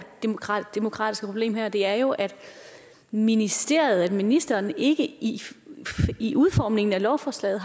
demokratiske problem her det er jo at ministeriet at ministeren ikke i i udformningen af lovforslaget